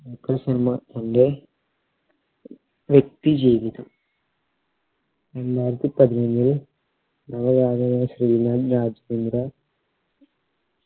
ദുൽഖർ സൽമാൻ ഇൻറെ വ്യക്തി ജീവിതം രണ്ടായിരത്തി പതിനൊന്നില് ശ്രീലാൽ രാജ്‌കുന്ദ്ര